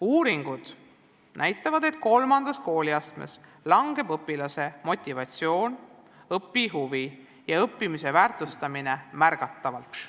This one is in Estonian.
Uuringud näitavad, et kolmandas kooliastmes kahaneb õpilase motivatsioon, õpihuvi ja õppimise väärtustamine märgatavalt.